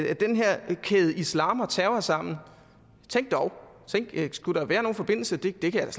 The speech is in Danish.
kædede islam og terror sammen tænk dog skulle der være nogen forbindelse det kan